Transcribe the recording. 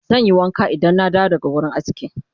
zanyi wanka Idan na dawo daga wurin aski